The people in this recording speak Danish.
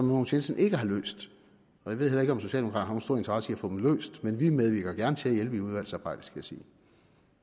mogens jensen ikke har løst og jeg ved heller ikke om socialdemokraterne stor interesse i at få dem løst men vi medvirker gerne til at hjælpe i udvalgsarbejdet skal jeg sige